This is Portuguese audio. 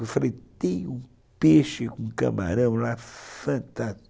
Eu falei, tem um peixe com camarão lá fantástico.